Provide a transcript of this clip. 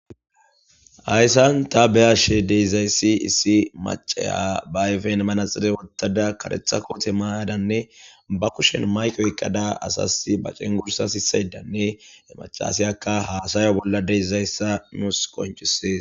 Hayssan tha be7ashe de7izayssi issi macciya ba ayfen manaxire woththada kareththa koothe maayadanne ba kushen mayke oyqqada asassi ba cengurssa sissaydanne he maccasiyakka haasayo bolla de7izayssa nuus qonccissees.